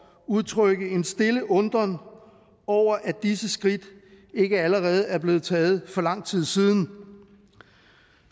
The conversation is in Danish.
udtrykke en stille undren over at disse skridt ikke allerede er blevet taget for lang tid siden